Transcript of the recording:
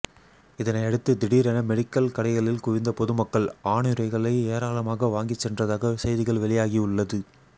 இதனை அடுத்து திடீரென மெடிக்கல் கடைகளில் குவிந்த பொதுமக்கள் ஆணுறைகளை ஏராளமாக வாங்கி சென்றதாக செய்திகள் வெளியாகி உள்ளது